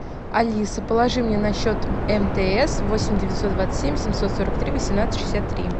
алиса положи мне на счет мтс восемь девятьсот двадцать семь семьсот сорок три восемнадцать шестьдесят три